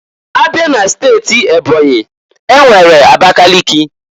Abịa n'steti Ebonyi, enwere Abakaliki.